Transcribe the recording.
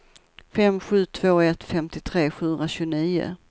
fem sju två ett femtiotre sjuhundratjugonio